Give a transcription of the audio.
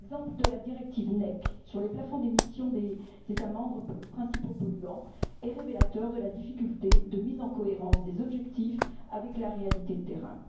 L'exemple de la directive NEC sur les plafonds d'émissions des États membres pour les principaux polluants est révélateur de la difficulté de mise en cohérence des objectifs avec la réalité du terrain.